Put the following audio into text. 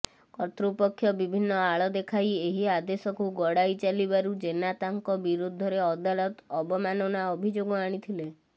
କର୍ତୃପକ୍ଷ ବିଭିନ୍ନ ଆଳ ଦେଖାଇ ଏହି ଆଦେଶକୁ ଗଡ଼ାଇ ଚାଲିବାରୁ ଜେନା ତାଙ୍କ ବିରୁଦ୍ଧରେ ଅଦାଲତ ଅବମାନନା ଅଭିଯୋଗ ଆଣିଥିଲେ